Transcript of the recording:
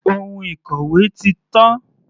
Ohun ìkòwé ti tán.